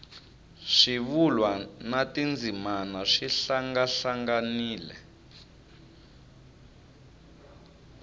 swivulwa na tindzimana swi hlangahlanganile